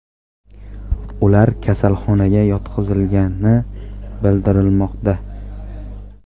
Ular kasalxonaga yotqizilgani bildirilmoqda.